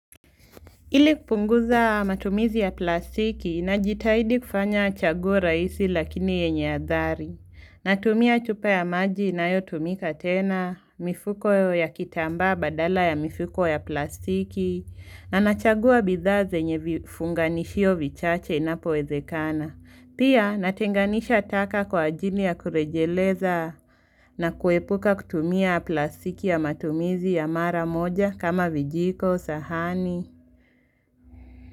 Ili kupunguza matumizi ya plastiki najitahidi kufanya chaguo rahisi lakini yenye adhari. Natumia chupa ya maji inayotumika tena, mifuko ya kitambaa badala ya mifuko ya plastiki, na nachagua bidhaa zenye vifunganishio vichache inapowezekana. Pia natenganisha taka kwa ajili ya kurejeleza na kuepuka kutumia plastiki ya matumizi ya mara moja kama vijiko sahani.